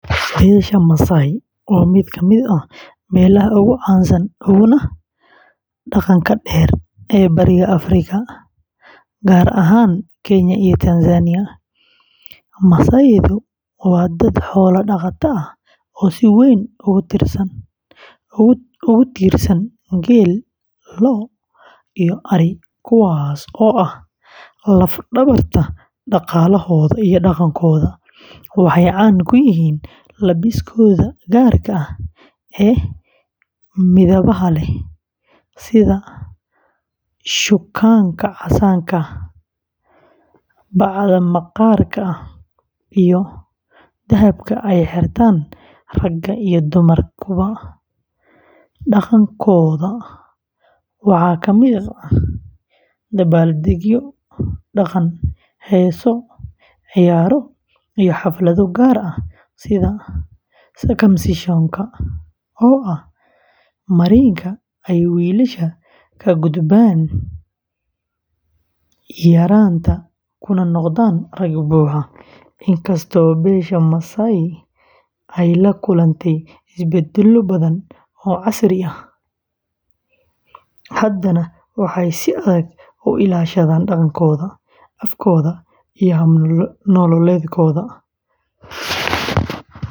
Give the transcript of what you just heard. Beesha Maasai waa mid ka mid ah beelaha ugu caansan uguna dhaqanka dheer ee Bariga Afrika, gaar ahaan Kenya iyo Tanzania. Maasai-du waa dad xoola dhaqato ah oo si weyn ugu tiirsan geel, lo’, iyo ari, kuwaas oo ah laf-dhabarta dhaqaalahooda iyo dhaqankooda. Waxay caan ku yihiin labiskooda gaarka ah ee midabbada leh, sida shukaanta casaanka ah, bacda maqaar ah, iyo dahabka ay xirtaan ragga iyo dumarkuba. Dhaqankooda waxaa kamid ah dabaaldegyo dhaqan, heeso, ciyaaro, iyo xaflado gaar ah sida circumcision-ka oo ah marinka ay wiilasha kaga gudbaan yaraanta kuna noqdaan rag buuxa. Inkastoo beesha Maasai ay la kulantay isbeddello badan oo casriyeyn ah, haddana waxay si adag u ilaashadaan dhaqankooda, afkooda, iyo hab nololeedkooda.